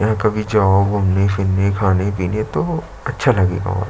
यहाँ कभी जाओ घूमने फिरने खाने-पिने तो अच्छा लगेगा और--